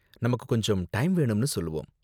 நமக்கு கொஞ்சம் டைம் வேணும்னு சொல்லுவோம்.